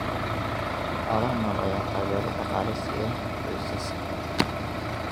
Xoolaha nool ayaa taageero dhaqaale siiya qoysaska.